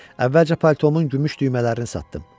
Əvvəlcə paltomun gümüş düymələrini satdım.